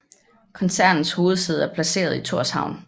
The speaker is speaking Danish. Koncernens hovedsæde er placeret i Thorshavn